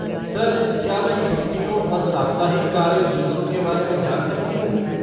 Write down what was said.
Sir, क्या मैं छुट्टियों और साप्ताहिक कार्य दिवसों के बारे में जान सकती हूँ?